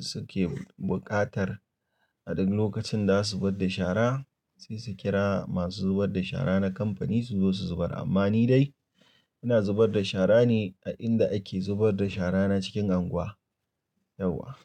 suke buƙatar a duk lokacin da za su zubar da shara, sai su kira masu zubar da shara na kamfani su zo su zubar. Amma ni dai ina zubar da shara ne a inda ake zubar da shara na cikin anguwa, yauwa.